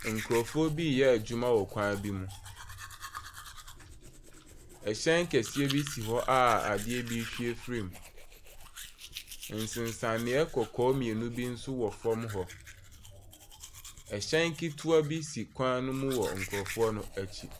Nkurɔfoɔ bi reyɛ adwuma bi wɔ kwan bi mu. Hyɛn kɛseɛ bi si hɔ a adeɛ bi rehwie firim. Nsensaneeɛ kɔkɔɔ mmienu bi nso wɔ fam hɔ. Hyɛn ketewa bi si kwan no mu wɔ nkurɔfoɔ no akyi.